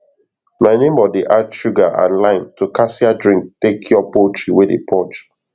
my neighbor dey add sugar and lime to cassia drink take cure poultry wey dey purge